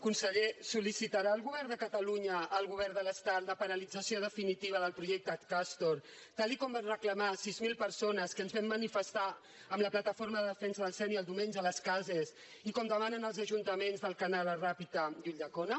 conseller sol·licitarà el govern de catalunya al govern de l’estat la paralització definitiva del projecte castor tal com van reclamar sis mil persones que ens vam manifestar amb la plataforma en defensa del sénia el diumenge a les cases i com demanen els ajuntaments d’alcanar la ràpita i ulldecona